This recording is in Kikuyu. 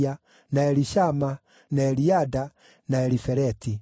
na Elishama, na Eliada, na Elifeleti.